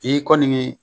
I kɔni ye